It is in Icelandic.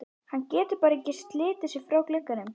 Hann getur bara ekki slitið sig frá glugganum.